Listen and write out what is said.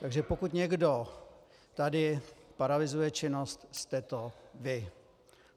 Takže pokud někdo tady paralyzuje činnost, jste to vy.